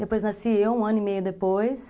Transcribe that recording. Depois nasci eu, um ano e meio depois.